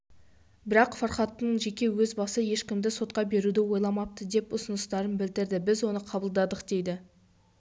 бірақ фархаттың жеке өз басы ешкімді сотқа беруді ойламапты деп ұсыныстарын білдірді біз оны қабылдадық дейді